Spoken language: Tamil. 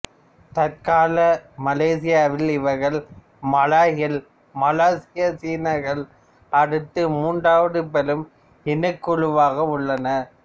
தற்கால மலேசியாவில் இவர்கள் மலாய்கள் மலேசிய சீனர்களை அடுத்து மூன்றாவது பெரும் இனக்குழுவாக உள்ளனர்